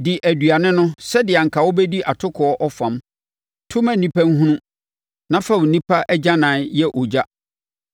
Di aduane no sɛdeɛ anka wobɛdi atokoɔ ɔfam; to ma nnipa nhunu, na fa onipa agyanan yɛ ogya.”